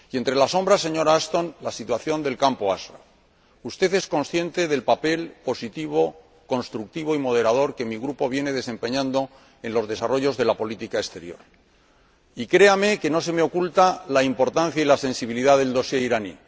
y entre las sombras, señora Ashton, la situación del campo de Ashraf usted es consciente del papel positivo, constructivo y moderador que mi grupo viene desempeñando en el desarrollo de la política exterior, y créame que no se me oculta la importancia y la sensibilidad del dossier iraní.